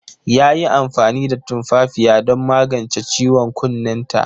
Ta yi amfani da tumfafiya don magance ciwon kunnenta.